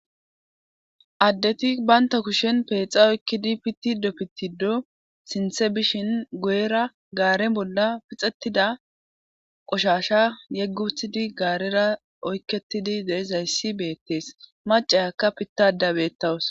addeti banta kushen peexa oykkidi pittido pittido sinthe bishin goyera gaaren bolla pixettida qoshasha yegguthidi gaarera oykketidi deizayssi beettees macayakka pittadabeettawus